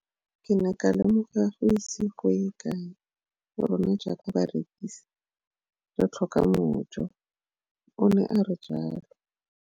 Ke ne ka lemoga gore go ise go ye kae rona jaaka barekise re tla tlhoka mojo, o ne a re jalo.